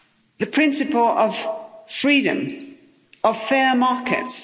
The principle of freedom, of fair markets.